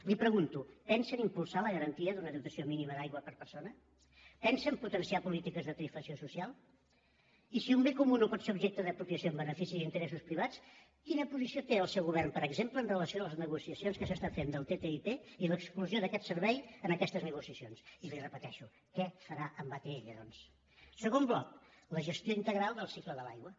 li pregunto pensen impulsar la garantia d’una dotació mínima d’aigua per persona pensen potenciar polítiques de tarifació social i si un bé comú no pot ser objecte d’apropiació en benefici d’interessos privats quina posició té el seu govern per exemple amb relació a les negociacions que s’estan fent del ttip i l’exclusió d’aquest servei en aquestes negociacions i li ho repeteixo què farà amb atll doncs segon bloc la gestió integral del cicle de l’aigua